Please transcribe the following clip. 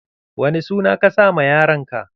Wani suna ka sa ma yaron ka?